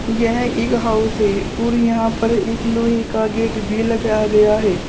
यह एक हाउस है और यहां पर एक लोहे का गेट भी लगाया गया है।